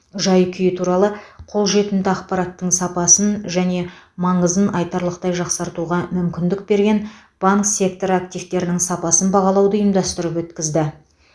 жай күйі туралы қолжетімді ақпараттың сапасын және маңызын айтарлықтай жақсартуға мүмкіндік берген банк секторы активтерінің сапасын бағалауды ұйымдастырып өткізді